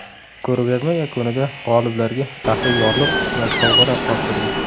Ko‘rgazma yakunida g‘oliblarga faxriy yorliq va sovg‘alar topshirildi.